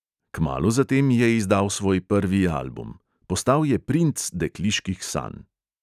Kmalu zatem je izdal svoj prvi album. postal je princ dekliških sanj.